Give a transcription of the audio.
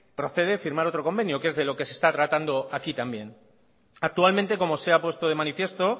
procede firmar otro convenio que es de lo que se está tratando aquí también actualmente como se ha puesto de manifiesto